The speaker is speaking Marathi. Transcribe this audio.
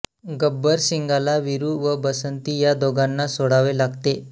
गब्बरसिंगाला वीरू व बसंती या दोघांना सोडावे लागते